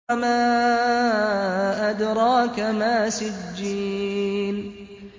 وَمَا أَدْرَاكَ مَا سِجِّينٌ